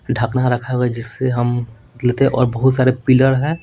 ढकना रखा हुआ है जिससे हम लेते हैं और बहुत सारे पिलर हैं।